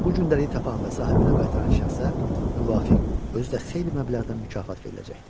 Bu günləri tapana və sahibinə qaytaran şəxsə müvafiq, özü də xeyli məbləğdə mükafat veriləcəkdir.